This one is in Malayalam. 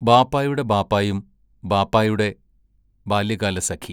ബാപ്പായുടെ ബാപ്പായും ബാപ്പായുടെ ബാല്യകാലസഖി